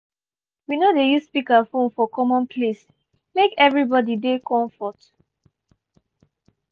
we no dey use speakerphone for common place make everybody dey komfort.